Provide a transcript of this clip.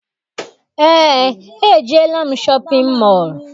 Eé, ejeela m shọpịn mọọ.